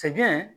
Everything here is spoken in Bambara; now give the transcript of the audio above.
Sɛgɛn